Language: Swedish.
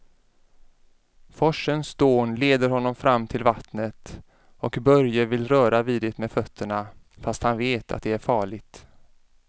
Forsens dån leder honom fram till vattnet och Börje vill röra vid det med fötterna, fast han vet att det är farligt.